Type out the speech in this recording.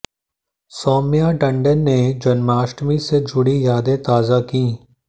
सौम्या टंडन ने जनमाष्टमी से जुड़ी यादें ताजा की